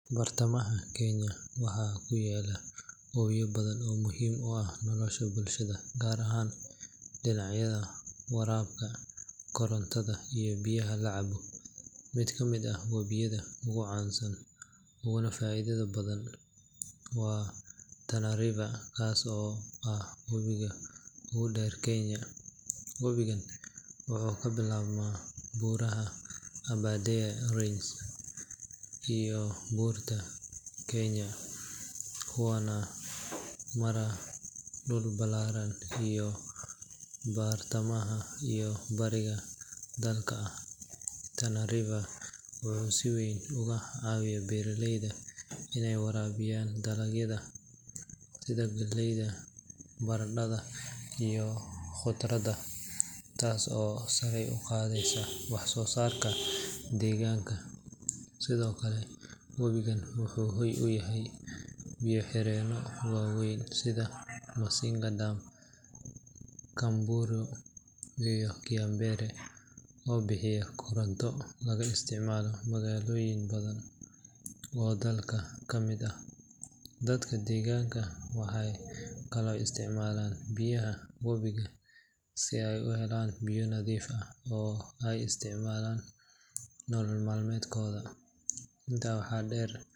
Bartamaha kenya waxaa ku yaal ooyo badan oo muhiim u ah nolosha bulshada gaar ahaan dhinacyada waraabka korontada iyo biyaha la cabo mid kaa mid ah webiyada ugu caansan uguna faa'idada badan waa tana river kaas oo ah xidiga uu dheer kenya webigan wuxuu ka bilaabmaa buuraha aberdare range iyo buurta, kenya waana mara dhul ballaaran iyo bartamaha iyo bariga dalka Tana river wuxuu si weyn uga hayo beeraleyda inay waraabiyaan dalagyada sida galayda baradhada iyo khudradda taas oo sare u qaadeysa wax soo saarka deegaanka sidoo kale webigan wuxuu hoy u yahay biyo xireeno waaweyn sida masinga, kamburu iyo kiambere oo bixiya koronto laga isticmaalo magaalooyin badan Oo dalka ka mid aah dadka deegaanka waxay kaloo isticmaalaan biyaha webiga si ay u helaan biyo nadiifa oo ay isticmaalaan nolol mal met kodaa intaa waxa dheer.